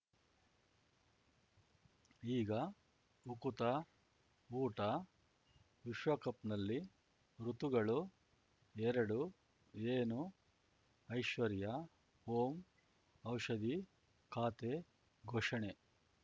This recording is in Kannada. ಈಗ ಉಕುತ ಊಟ ವಿಶ್ವಕಪ್‌ನಲ್ಲಿ ಋತುಗಳು ಎರಡು ಏನು ಐಶ್ವರ್ಯಾ ಓಂ ಔಷಧಿ ಖಾತೆ ಘೋಷಣೆ